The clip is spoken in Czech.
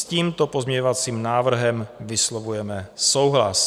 S tímto pozměňovacím návrhem vyslovujeme souhlas.